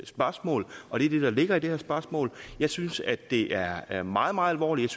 spørgsmål og det er det der ligger i det her spørgsmål jeg synes at det er er meget meget alvorligt